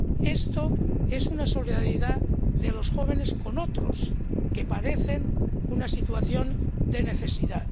Esto es una solidaridad de los jóvenes con otras personas que padecen una situación de necesidad.